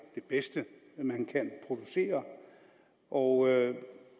det bedste man kan producere og